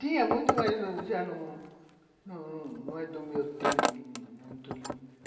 Tinha muito, mas já não não é do meu tempo muito não, né.